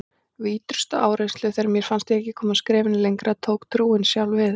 Við ýtrustu áreynslu, þegar mér fannst ég ekki komast skrefinu lengra, tók trúin sjálf við.